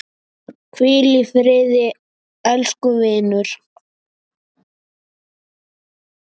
Hvíl í friði, elsku vinur.